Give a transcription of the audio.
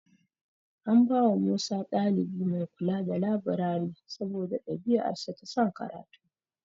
An bawa Musa ɗalibi mai kula da labirari saboda ɗabi'arsa ta son karatu.